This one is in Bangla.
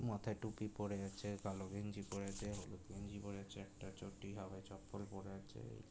মাথায় টুপি পরে আছে কালো গেঞ্জি পরে আছে হলুদ গেঞ্জি পরে আছে একটা চটি হাওয়াই চপ্পল পড়ে আছে এই--